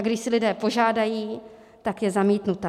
A když si lidé požádají, tak je zamítnuta.